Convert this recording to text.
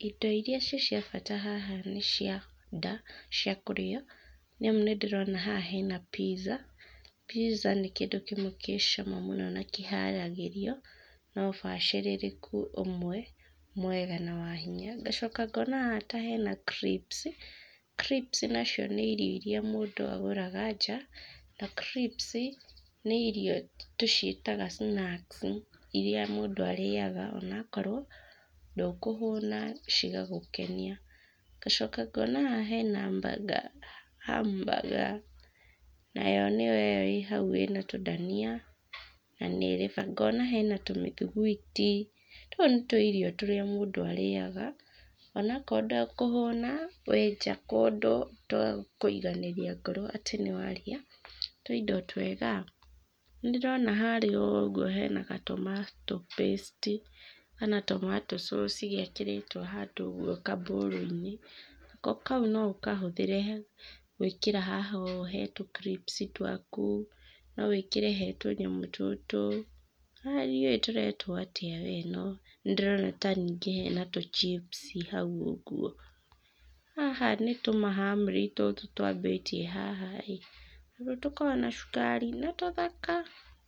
Indo iria ciĩ cia bata haha nĩ cia nda, cia kũrĩa. Nĩ amu nĩ ndĩrona haha hena pizza. Pizza nĩ kĩndũ kĩmwe kĩ cama mũno na kĩharagĩrio na ũbacĩrĩrĩku ũmwe mwega na wa hinya. Ngacoka ngoona haha ta hena crips, na crips nacio nĩ irio iria mũndũ agũraga nja, na crips nĩ irio tũciĩtaga snacks iria mũndũ arĩaga o na okorwo ndũkũhũna, cigagũkenia. Ngacoka ngoona haha hena burger, ham burger nayo nĩyo ĩyo ĩ hau ĩna tũdania na nĩ ĩrĩ bata. Ngoona hena tũmĩthiguiti, tũ nĩ tũirio tũrĩa mũndũ arĩaga o na okorwo ndakũhũna, wĩ nja kũndũ, twa kũiganĩria ngoro atĩ nĩ warĩa tũindo twega. Nĩ ndĩrona harĩa ũguo hena ga tomato paste kana tomato sauce gekĩrĩtwo handũ ũguo kabowl-inĩ, ko kau no ũkahũthĩre gwĩkĩra haha ũũ he tũ crips twaku, no wĩkĩre he tunyamũ tũtũ, o na ndiũĩ tũretwo atĩa we, no nĩ ndĩrona ta ningĩ hena tũchips hau ũguo. Haha nĩ tũ mahamri tũtũ twambitie haha ĩ, tũndũ tũkoragwo na cukari, na tũthaka.